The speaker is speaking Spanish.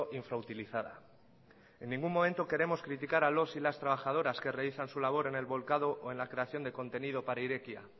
infrautilizada en ningún momento queremos criticar a los y las trabajadoras que realizan su labor en el volcado o en la creación de contenido para irekia